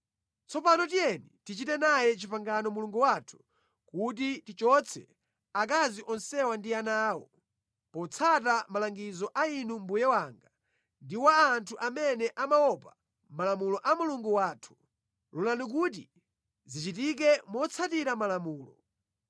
Tsopano tiyeni tichite naye pangano Mulungu wathu, kuti tichotse akazi onsewa ndi ana awo, potsata malangizo a inu mbuye wanga ndi wa anthu amene amaopa malamulo a Mulungu wathu. Lolani kuti zichitike motsatira malamulo.